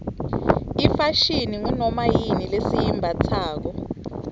ifashini ngunoma yini lesiyimbatsako